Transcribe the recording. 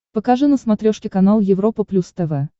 покажи на смотрешке канал европа плюс тв